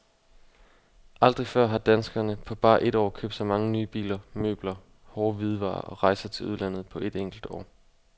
Aldrig før har danskerne på bare et år købt så mange nye biler, møbler, hårde hvidevarer og rejser til udlandet på et enkelt år.